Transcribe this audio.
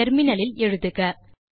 என டெர்மினல் இல் எழுதுக